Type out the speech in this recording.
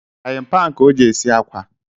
Fraying pan ka o ji esi akwa